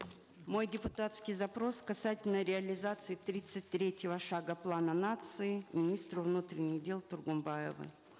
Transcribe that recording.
мой депутатский запрос касательно реализации тридцать третьего шага плана нации министру внутренних дел тургумбаеву